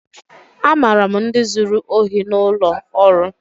Amara m ndi zuru ohi n'ụlọ ọrụ.